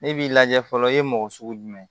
Ne b'i lajɛ fɔlɔ i ye mɔgɔ sugu jumɛn